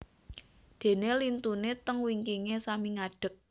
Dene lintune teng wingkinge sami ngadek